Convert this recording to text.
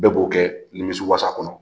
Bɛɛ b'o kɛ nimisiwasa kɔnɔ